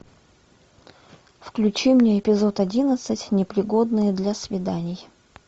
включи мне эпизод одиннадцать непригодные для свиданий